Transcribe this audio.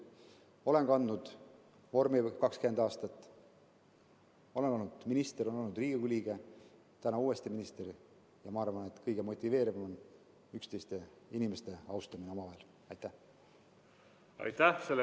Olen kandnud vormi 20 aastat, olen olnud minister, olen olnud Riigikogu liige, nüüd olen uuesti minister, ja arvan, et kõige motiveerivam on üksteise austamine, inimeste omavaheline austus.